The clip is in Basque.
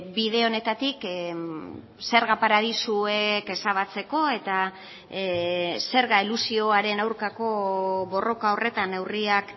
bide honetatik zerga paradisuek ezabatzeko eta zerga elusioaren aurkako borroka horretan neurriak